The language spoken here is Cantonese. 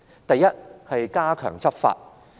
當局應加強執法。